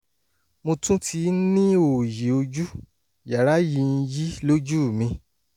mo tún ti ń ní oòyì ojú (yàrá ń yí lójú mi)